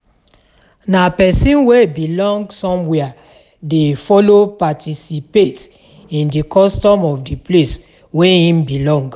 Na persin wey belong somewhere de follow participate in di custom of di place wey im belong